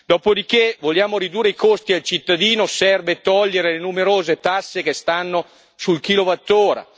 Dopo di che vogliamo ridurre i costi al cittadino, serve togliere le numerose tasse che stanno sul kilowattora.